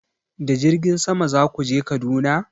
Da jirgin sama za ku je Kaduna?